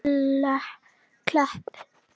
Sjálfvirka taugakerfið stjórnar þessum vöðvum.